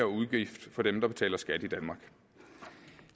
udgift for dem der betaler skat i danmark